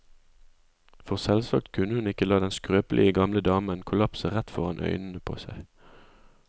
For selvsagt kunne hun ikke la den skrøpelige gamle damen kollapse rett foran øynene på seg.